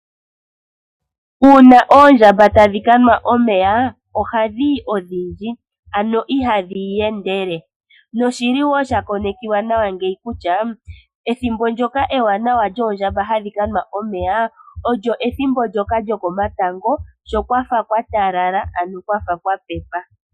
Uuna oondjamba tadhi ka nwa omeya ohadhi yi odhindji ano ihadhi iyendele noshili wo sha konekiwa nawa kutya ethimbo ndyoka ewanawa lyoondjamba hadhi ka nwa omeya olyo ethimbo ndyoka lyokomatango sho kwafa kwa talala ano kwafa kwa pepa.